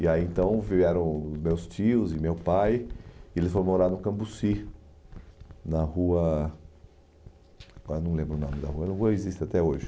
E aí então vieram meus tios e meu pai e eles foram morar no Cambuci, na rua... Agora Eu não lembro o nome da rua, existe até hoje.